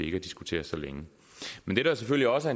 ikke at diskutere så længe men det der selvfølgelig også